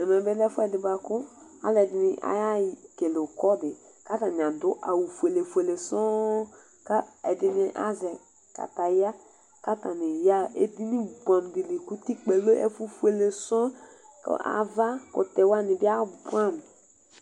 Ɛmɛ bɩ lɛ efʊɛ bʊakʊ alʊɛdɩnɩ aya ɛkele ʊkɔ dɩ, katanɩ adʊ awʊ fʊele fʊele sɔɔ, kɛdɩnɩ azɛ kataya katanɩ yaa edɩnɩ bʊɛdɩ kʊtɩkpaƴɛ ɔlɛ efʊ fʊele sɔɔ Avakʊtɛ wanɩ abʊamʊ